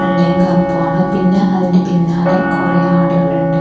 വെള്ളയും കറുപ്പുമാണ് പിന്നെ അതിൻ്റെ പിന്നാലെ കൊറെ ആട്കള്ണ്ട്.